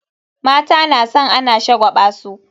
Mata na san ana shagwaba su.